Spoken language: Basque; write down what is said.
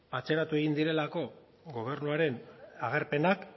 atzeratu egin direlako gobernuaren agerpenak